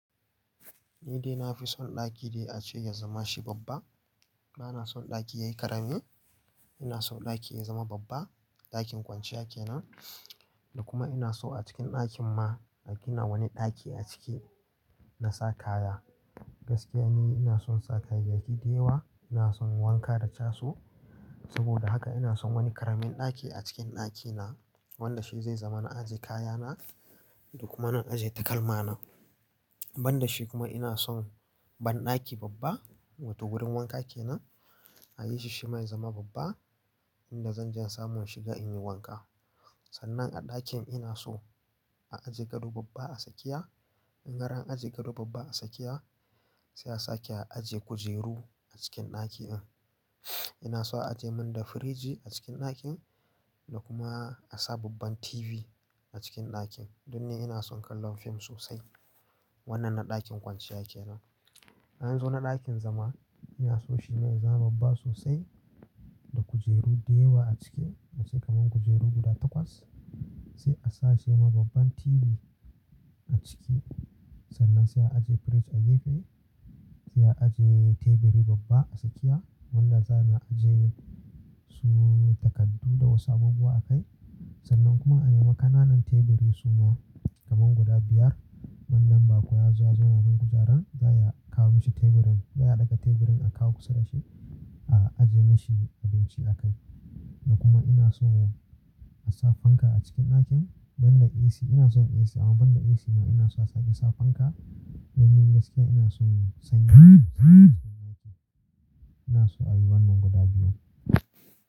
Ni dai na fi son ɗaki dai a ce ya zama shi babba. Bana son ɗaki yayi ƙarami. Ina son ɗaki ya zama babba. Ɗakin kwanciya kenan. Da kuma ina so a cikin ɗakin ma a gina wani ɗaki a ciki na sa kaya. Gaskiya ni ina son sa kayayyaki da yawa. Ina son wanka da caso. Saboda haka ina son wani ƙaramin ɗaki a cikin ɗakina wanda shi zai zama na aje kayana da kuma na aje takalmana. Ban da shi kuma ina son banɗaki babba wato wurin wanka kenan. A yi shi shi ma ya zama babba inda zan je in samu in shiga in yi wanka. Sannan a ɗakin ina so a aje gado babba a tsakiya. In har an aje gado babba a tsakiya sai a sake a aje kujeru cikin ɗaki na. Ina so a aje mun da firiji a cikin ɗakin da kuma a sa babban TV a cikin ɗakin. Don ni ina son kallon fim sosai. Wannan na ɗakin kwanciya kenan. In in zo na ɗakin zama ina so shi ne ya zama babba sosai da kujeru da yawa a ciki. A ce kaman kujeru guda takwas. Sai a sa shi ma babban TV a ciki. Sannan sai a aje firij a gefe. Sai a aje teburi babba a tsakiya wanda za a na aje su takardu da wasu abubuwa a kai. Sannan kuma a nema ƙananan teburi suma kaman guda biyar. Wanda in baƙo ya zo ya zauna kan kujaran za, a iya kawo mishi teburin. Za, a iya ɗaga teburin a kawo kusa da shi a aje mishi abinci a kai. Da kuma ina so a sa fanka a cikin ɗakin ban da AC. Ina son AC amma ban da AC ma ina so a sake sa fanka. Domin gaskiya ina son sanyi ina so a yi wannan guda biyu.